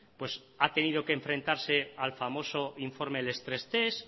pues ha tenido que enfrentarse al famoso informe stress test